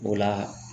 O la